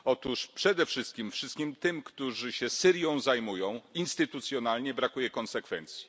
Otóż, przede wszystkim, wszystkim tym, którzy się Syrią zajmują instytucjonalnie brakuje konsekwencji.